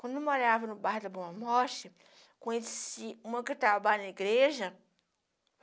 Quando eu morava no bar da Boa Morte, conheci uma que trabalha na igreja.